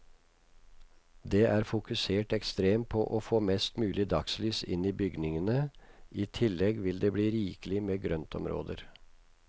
Det er fokusert ekstremt på å få mest mulig dagslys inn i bygningene, i tillegg vil det bli rikelig med grøntområder.